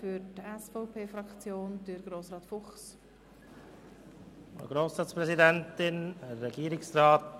Für die SVPFraktion hat Grossrat Fuchs das Wort.